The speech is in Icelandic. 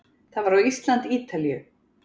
Það var á Ísland- Ítalíu